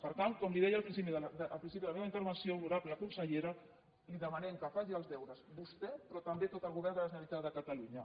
per tant com li deia al principi de la meva intervenció honorable consellera li demanem que faci els deures vostè però també tot el govern de la generalitat de catalunya